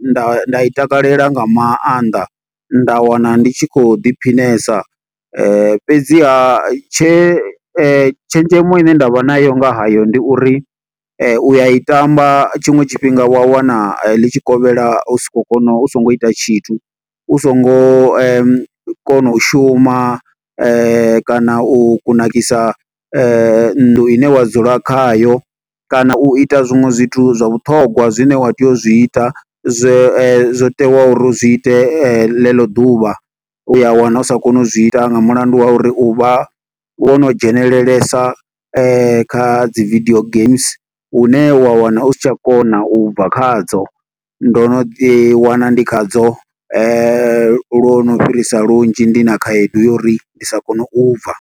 nda nda i takalela nga maanḓa, nda wana ndi tshi khou ḓiphinesa. Fhedziha tshe tshenzhemo ine nda vha nayo nga hayo ndi uri, u a i tamba tshiṅwe tshifhinga wa wana ḽi tshikovhela u si khou kona, u songo ita tshithu. U songo kona u shuma, kana u kunakisa nnḓu ine wa dzula khayo. Kana u ita zwiṅwe zwithu zwa vhuṱhogwa zwine wa tea u zwi ita, zwo teaho uri zwi ite ḽeḽo ḓuvha. U ya wana u sa koni u zwi ita nga mulandu wa uri, u vha wo no dzhenelelesa kha dzi video games une wa wana u si tsha kona u bva khadzo. Ndo no ḓi wana ndi khadzo lwo no fhirisa lunzhi, ndi na khaedu ya uri ndi sa kone u bva.